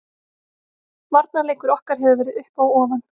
Varnarleikur okkar hefur verið upp og ofan.